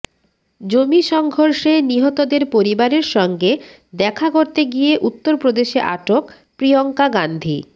জমি সংঘর্ষে নিহতদের পরিবারের সঙ্গে দেখা করতে গিয়ে উত্তরপ্রদেশে আটক প্রিয়ঙ্কা গান্ধী